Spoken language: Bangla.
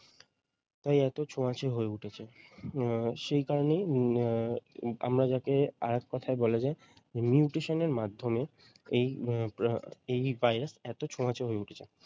তাই এতো ছোঁয়াচে হয়ে উঠেছে উম সেই কারণেই উম আহ আমরা যাকে আরেক কথায় বলা যায় nutrition এর মাধ্যমে এই উম ভাইরাস এতো ছোঁয়াচে হয়ে উঠেছে।